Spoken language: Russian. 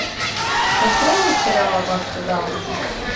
открой мне сериал аббатство даунтон